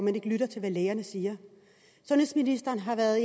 at lytte til hvad lægerne siger sundhedsministeren har været